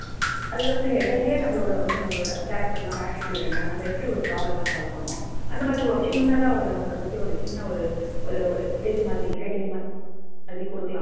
அதுல வந்து header லேயே நம்பளோட வந்து நம்பளோட character நம்ப attitude என்ன, நம்ப எப்படி ஒரு problem மை solve பண்ணுவோம், அந்த மாதிரி ஒரு சின்னதா ஒரு நம்பளை பத்தி சின்ன ஒரு ஒரு ஒரு இது மாதிரி heading மாதிரி குடுக்கலாம்.